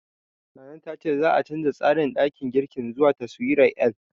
Nana ta ce za'a canja tsarin ɗakin girkin zuwa taswirar L.